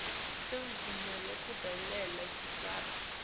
semvumo yekudobela kuhweba